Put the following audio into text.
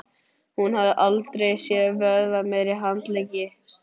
Hún hafði aldrei séð vöðvameiri handleggi.